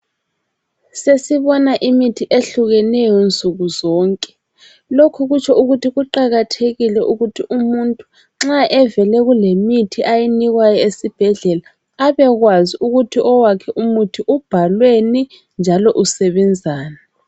Sesibona imithi ehlukeneyo nsukuzonke. Lokhu kutsho ukuthi kuqakathekile ukuthi umuntu nxa evele kulemithi ayinikwayo esibhedlela abekwazi ukuthi owakhe umuthi ubhalweni njalo usebenzani.